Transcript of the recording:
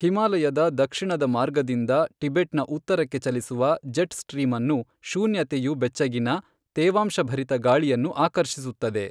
ಹಿಮಾಲಯದ ದಕ್ಷಿಣದ ಮಾರ್ಗದಿಂದ ಟಿಬೆಟ್ನ ಉತ್ತರಕ್ಕೆ ಚಲಿಸುವ ಜೆಟ್ ಸ್ಟ್ರೀಮ್ ಅನ್ನು ಶೂನ್ಯತೆಯು ಬೆಚ್ಚಗಿನ, ತೇವಾಂಶಭರಿತ ಗಾಳಿಯನ್ನು ಆಕರ್ಷಿಸುತ್ತದೆ.